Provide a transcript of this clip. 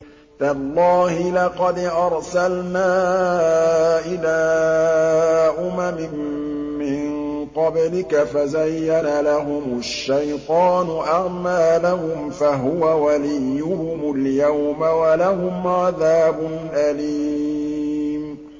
تَاللَّهِ لَقَدْ أَرْسَلْنَا إِلَىٰ أُمَمٍ مِّن قَبْلِكَ فَزَيَّنَ لَهُمُ الشَّيْطَانُ أَعْمَالَهُمْ فَهُوَ وَلِيُّهُمُ الْيَوْمَ وَلَهُمْ عَذَابٌ أَلِيمٌ